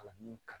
Kalan min ka